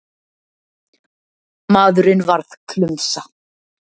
Maðurinn varð klumsa.